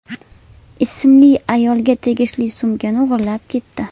ismli ayolga tegishli sumkani o‘g‘irlab ketdi.